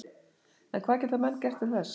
En hvað geta menn gert til þess?